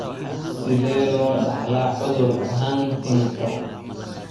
Sidee loo dhaxlaa cudurka Huntington?